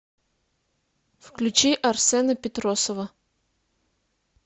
включи арсена петросова